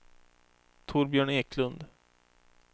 Torbjörn Eklund